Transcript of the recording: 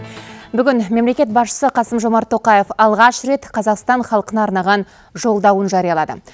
бүгін мемлекет басшысы қасым жомарт тоқаев алғаш рет қазақстан халқына арнаған жолдауын жариялады